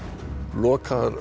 lokaðar